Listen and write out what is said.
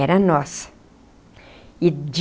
Era nossa e de